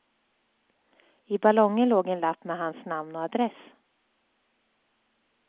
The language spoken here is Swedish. I ballongen låg en lapp med hans namn och adress.